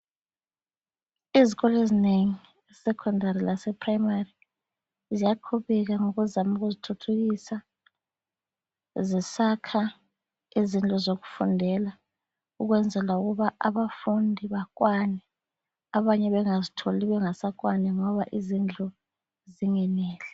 Izikolo ezinengi i-Secondary lase Primary ziyaqubeka ngokuzama ukuzithuthukisa zisakha izindlu zokufundela ukwenzela ukuba abafundi bakwane abanye bengazitholi bengasakwani ngoba izindlu zingeneli.